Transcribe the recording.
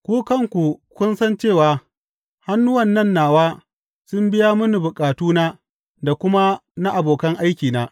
Ku kanku kun san cewa hannuwan nan nawa sun biya mini bukatuna da kuma na abokan aikina.